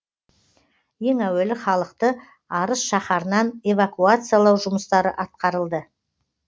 ең әуелі халықты арыс шаһарынан эвакуациялау жұмыстары атқарылды